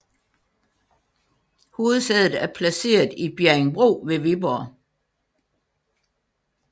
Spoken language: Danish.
Hovedsædet er placeret i Bjerringbro ved Viborg